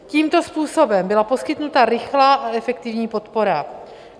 Tímto způsobem byla poskytnuta rychlá a efektivní podpora.